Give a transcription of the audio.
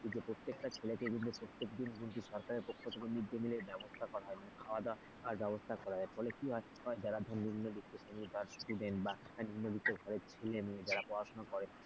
প্রত্যেকটা ছেলেকে কিন্তু প্রত্যেক দিন কিন্তু সরকারের পক্ষ থেকে mid day meal র ব্যবস্থা করা হয় খাওয়া-দাওয়ার ব্যবস্থা করা হয় হলে কি হয় যারা ধর নিম্নবিত্ত শ্রেণীর student বা নিম্নবিত্ত ঘরের ছেলেমেয়ে যারা পড়াশোনা করে,